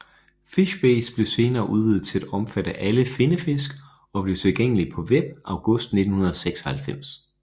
FishBase blev senere udvidet til at omfatte alle finnefisk og blev tilgængelig på Web august 1996